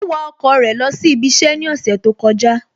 Ó wa ọkọ̀ rẹ̀ lọ sí ibi iṣẹ́ ní ọ̀sẹ̀ tó kọjá